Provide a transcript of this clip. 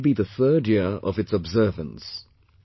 This will be the third year of its observance